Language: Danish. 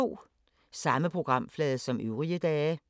Samme programflade som øvrige dage